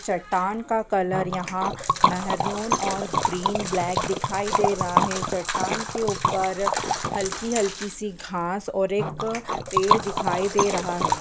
चट्टान का कलर यहाँ महरून और ग्रीन ब्लैक दिखाई दे रहा है। चट्टान के ऊपर हल्की-हल्की सी घांस और एक पेड़ दिखाई दे रहा है।